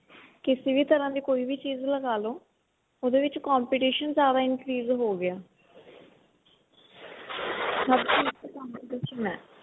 ਕਿਸੇ ਵੀ ਤਰ੍ਹਾਂ ਦੀ ਕੋਈ ਵੀ ਚੀਜ ਲਗਾਲੋ ਉਹਦੇ ਵਿੱਚ competition ਜਿਆਦਾ increase ਹੋ ਗਿਆ ਹਰ ਚੀਜ ਚ competition ਹੈ